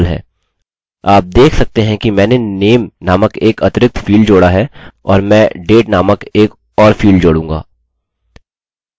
आप देख सकते हैंकि मैंने name नामक एक अतिरिक्त फील्ड जोड़ा है और मैं date नामक एक और फील्ड जोडूँगा